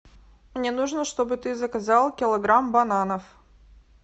мне нужно чтобы ты заказал килограмм бананов